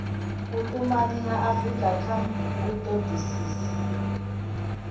vhutumanyi ha afurika kha vhutodisisi